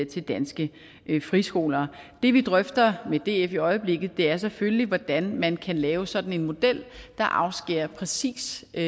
til danske friskoler det vi drøfter med df i øjeblikket er selvfølgelig hvordan man kan lave sådan en model der afskærer præcis de